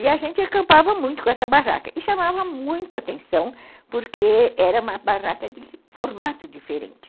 E a gente acampava muito com essa barraca e chamava muito a atenção porque era uma barraca de formato diferente.